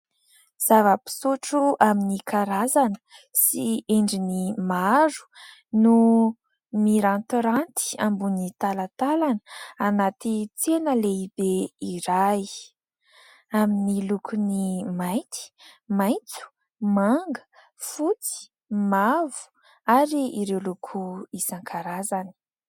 Zava-pisotra amin'ny karazana sy endriny maro no mirantiranty ambony talantalana anaty tsena lehibe iray. Amin'ny lokony mainty, maitso, manga, fotsy, mavo ary ireo loko isan-karazany.